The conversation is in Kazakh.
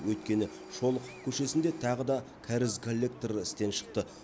өйткені шолохов көшесінде тағы да кәріз коллекторы істен шықты